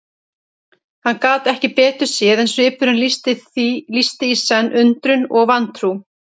Hann gat ekki betur séð en svipurinn lýsti í senn undrun og vantrú.